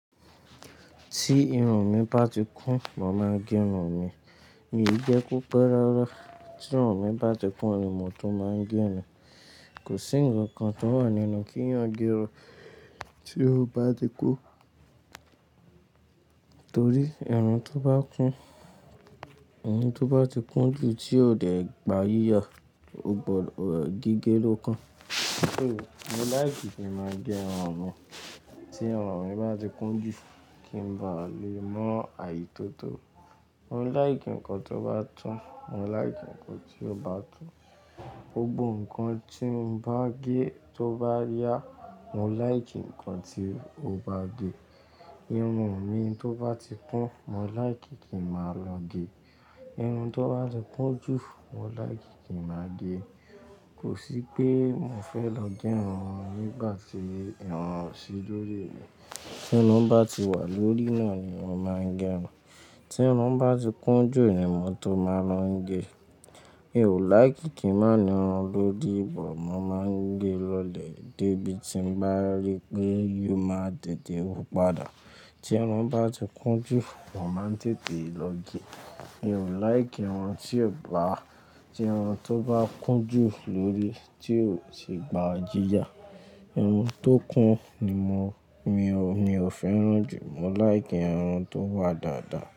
Tí irun mi bá ti kún mo máa ń gé irun mi. Mi ò jẹ ki ó pẹ́ rárá. Tí irun mi bá ti kún ni mo tó máa ń gé irun. Kò sí ńǹkan kan tó wà nínú kí eeyan gé irun tí ó bá ti kún. Torí irun tó bá kún, irun tó bá ti kún jù tí ò dẹ̀ gba yíya, ó bọ́ gígé lókan. Mo láìkì kí n máa gé irun mi tí irun mi bá ti kún jù kí ń ba lè mọ àyí tó tó. Mo láìkì ǹkan tó bá tún, mo láìkì ǹkan tí ó bá tún. Gbogbo ǹkan tí mo bá gé tó bá yá, mo láìkì ǹkan tí ó bá gè. Irun mi tó bá ti kún, mo láìkì kí n máa lọo gé. Irun tó bá ti kún jù, mo láìkì kí n máa gé. Kò sí pé mo fẹ́ lọ gé irun mi nígbà tí irun ò sí lórí mi. Tí irun bá ti wà lórí náà ni mo máa ń gé irun. Tí irun bá ti kún jù ni mo tó máa ń lọ n gé. Mi ò láìkí kí n máa ní irun lóri but, mo máa ń gé lọ́lẹ̀ dé bí ti n bá rí pé yó máa tètè wu padà. Tí irun bá ti kún jù, mo máa ń tètè lọ gé. Mi ò láìkí irun tí ò gba, tí irun tó bá kún jù lórí tí ò ṣe gba yìyà. Irun tó kún ni mo, mi ò, mi ò fẹ́ràn jù. Mo láì kí irun tó wà dáadáa.